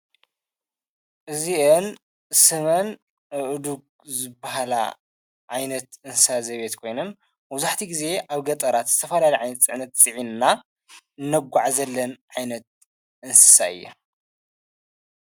እዚእን ስመንእዱ በሃላ ዓይነት እንሳ ዘቤት ኮይንን ወዙሕቲ ጊዜ ኣብ ገጠራት ዝተፈላሊ ዓይን ጽዕነት ጺዕንና እነጕዕ ዘለን ዓይነት እንሳዩ እዩ።